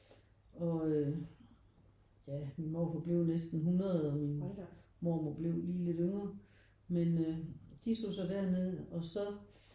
Og øh ja min morfar blev næsten 100 og min mormor blev lige lidt yngre men øh de tog så derned og så